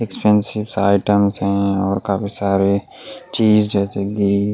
expensive items है और काफी सारे चीज जैसे कि ---